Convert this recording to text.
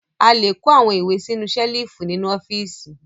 A le kó àwọn ìwé sínú ṣẹ́lífù nínú ọ́fíísì.